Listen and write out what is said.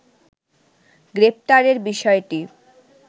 গ্রেপ্তারের বিষয়টি